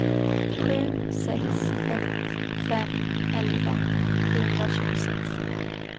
sju sex ett fem elva sjuhundratjugosex